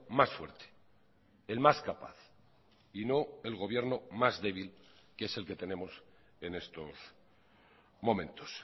más fuerte el más capaz y no el gobierno más débil que es el que tenemos en estos momentos